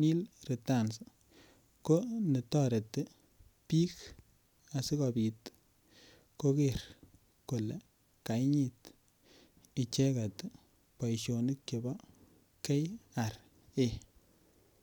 nil returns ko netoreti bik asikobit koger kole kainyit icheget boisionik chebo KRA